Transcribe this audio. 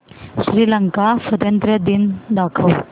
श्रीलंका स्वातंत्र्य दिन दाखव